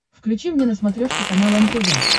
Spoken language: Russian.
включи мне на смотрешке канал нтв